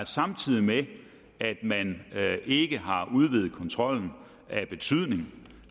samtidig med at man ikke har udvidet kontrollen af betydning